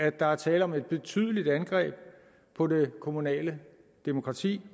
at der er tale om et betydeligt angreb på det kommunale demokrati